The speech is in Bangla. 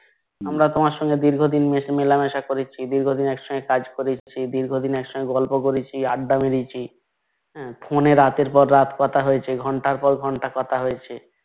আমরা তোমার সঙ্গে ধীর্গদিন মেলামেশা করেছি ধির্গদিন একসাথে কাজ করেছি ধির্গদিন একসঙ্গে কথা বলেছি আড্ডা দিয়েছি Phone এ রাতের পর রাত কথা হয়েছে ঘণ্টার পর ঘন্টা কথা হয়েছে